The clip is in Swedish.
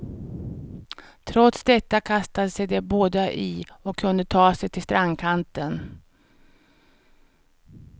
Trots detta kastade sig de båda i och kunde ta sig till strandkanten.